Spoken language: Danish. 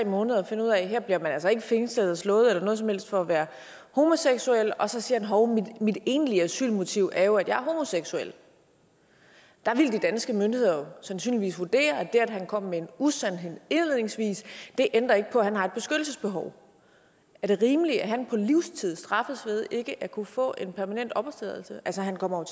måneder og finder ud af at her bliver man altså ikke fængslet eller slået eller noget som helst for at være homoseksuel og så siger han hov mit egentlige asylmotiv er jo at jeg er homoseksuel der ville de danske myndigheder jo sandsynligvis vurdere at det at han kom med en usandhed indledningsvis ikke ændrer på at han har et beskyttelsesbehov er det rimeligt at han på livstid straffes ved ikke at kunne få en permanent opholdstilladelse altså han kommer